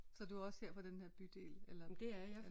Så du er også her fra den her bydel eller